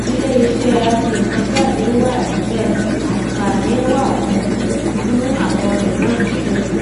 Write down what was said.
ilé iṣẹ aṣẹnǹkanjáde wà níbẹ àǹfààní wa fún fún àwọn mìíràn níbẹ